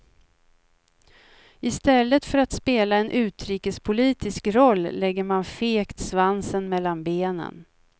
I stället för att spela en utrikespolitisk roll lägger man fegt svansen mellan benen.